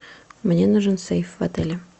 мне нужен сейф в отеле